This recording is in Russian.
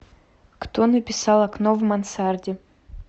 кто написал окно в мансарде